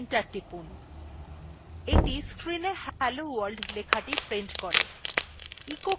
এইটি screenএ hello world লেখাটি prints করে